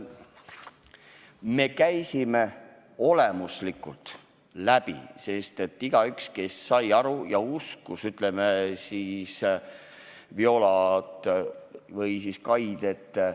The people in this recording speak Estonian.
Me käisime selle teema olemuslikult läbi, igaüks sai kuulata Viola ja Kai juttu.